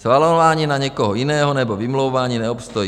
Svalování na někoho jiného nebo vymlouvání neobstojí.